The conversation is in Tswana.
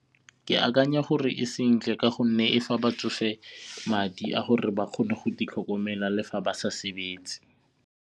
Ke akanya gore e sentle ka gonne e fa batsofe madi a gore ba kgone go itlhokomela le fa ba sa sebetse.